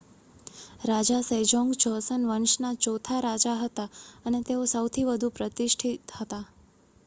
રાજા Sejong Joseon વંશના ચોથા રાજા હતા અને તેઓ સૌથી વધુ પ્રતિષ્ઠિત હતા